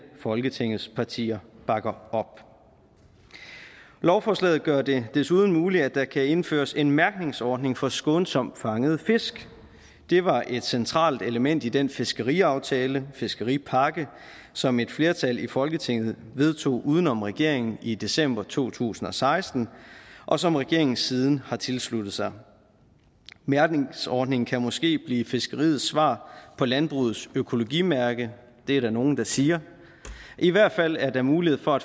folketingets partier bakker op lovforslaget gør det desuden muligt at der kan indføres en mærkningsordning for skånsomt fangede fisk det var et centralt element i den fiskeriaftale fiskeripakke som et flertal i folketinget vedtog uden om regeringen i december to tusind og seksten og som regeringen siden har tilsluttet sig mærkningsordningen kan måske blive fiskeriets svar på landbrugets økologimærke det er der nogle der siger i hvert fald er der mulighed for at